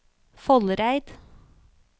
Foldereid